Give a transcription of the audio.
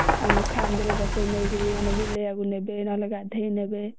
ଆମକୁ କାନ୍ଧରେ ବସେଇକି ନେଇକିରି ମାନେ ବୁଲେଇବାକୁ ନେବେ ନହେଲେ ଗାଧେଇ ନେବେ